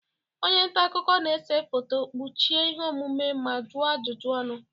Onye nta akụkọ na-ese foto, kpuchie ihe omume ma juọ ajụjụ ọnụ.